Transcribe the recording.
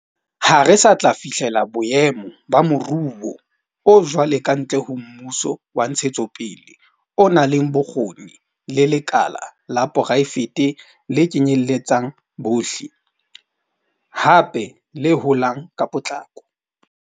Ha re sa tla fihlela boemo ba moruo o jwalo kantle ho mmuso wa ntshetsopele o nang le bokgoni le lekala la poraefete le kenyeletsang bohle, hape le holang ka potlako.